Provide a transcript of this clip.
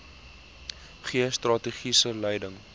gee strategiese leiding